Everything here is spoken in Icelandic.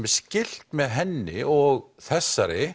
er skylt með henni og þessari